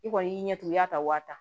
I kɔni y'i ɲɛ tugun i ya ta wa tan